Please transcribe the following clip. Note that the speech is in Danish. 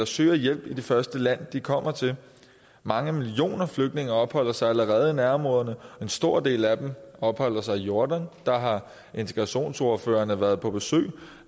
søger hjælp i det første land de kommer til mange millioner flygtninge opholder sig allerede i nærområderne og en stor del af dem opholder sig i jordan der har integrationsordførerne været på besøg og